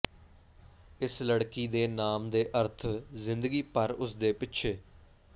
ਇਸ ਲੜਕੀ ਦੇ ਨਾਮ ਦੇ ਅਰਥ ਜ਼ਿੰਦਗੀ ਭਰ ਉਸ ਦੇ ਪਿੱਛੇ